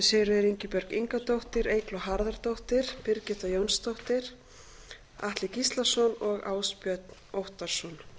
sigríður ingibjörg ingadóttir eygló harðardóttir birgitta jónsdóttir atli gíslason og ásbjörn óttarsson